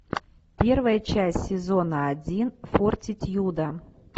первая часть сезона один фортитьюда